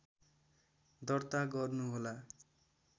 दर्ता गर्नुहोला